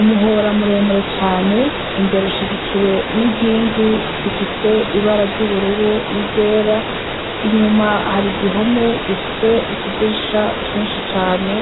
Umuhora muremure cane, imbere ushigikiwe n'inkingi zifise ibara ry'ubururu n'iryera. Inyuma hari igihome gifise utudirisha twinshi cane,